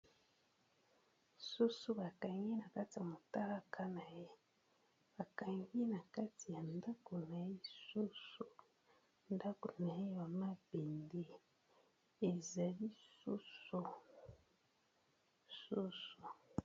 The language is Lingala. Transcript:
Soso bakangi na kati ya motalaka na ye bakangi na kati ya ndako na lisusu ndako na ye bamabende eza lisusu